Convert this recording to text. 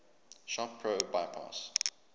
shop pro bypass